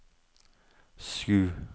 sju